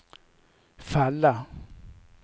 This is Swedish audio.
falla